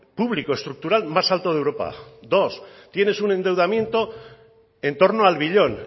público estructural más alto de europa dos tienen un endeudamiento en torno al billón